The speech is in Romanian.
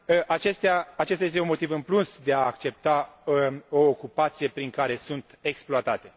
Acesta este un motiv în plus de a accepta o ocupație prin care sunt exploatate.